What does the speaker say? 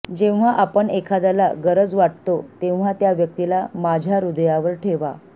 जेव्हा आपण एखाद्याला गरज वाटतो तेव्हा त्या व्यक्तीला माझ्या हृदयावर ठेवा